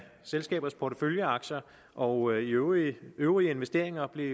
selskabers porteføljeaktier og øvrige øvrige investeringer blev